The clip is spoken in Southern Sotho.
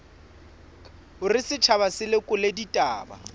hore setjhaba se lekole ditaba